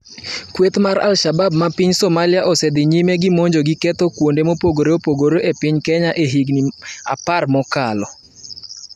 Kweth mar al-Shabab ma piny Somalia osedhi nyime gimonjo gi ketho kuonde mopogore opogore e piny Kenya e higni apar mokalo.